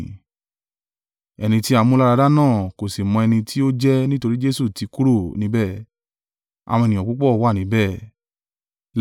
Ẹni tí a mú láradá náà kò sì mọ̀ ẹni tí ó jẹ́ nítorí Jesu ti kúrò níbẹ̀, àwọn ènìyàn púpọ̀ wà níbẹ̀.